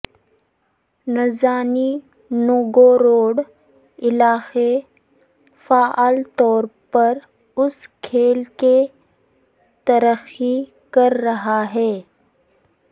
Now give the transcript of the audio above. Nizhny Novgorod علاقے فعال طور پر اس کھیل کے ترقی کر رہا ہے